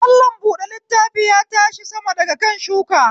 Mallam buɗe littafi ya tashi sama daga kan shuka